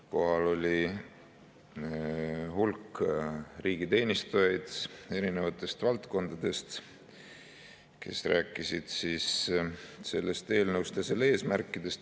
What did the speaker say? Kohal oli hulk riigiteenistujaid eri valdkondadest, kes rääkisid eelnõust ja selle eesmärkidest.